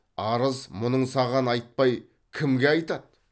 арыз мұңын саған айтпай кімге айтады